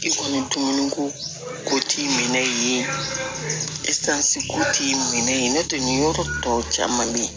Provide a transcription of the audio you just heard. I kɔni tun ko t'i minɛ ne tɛ nin yɔrɔ tɔ caman bɛ ye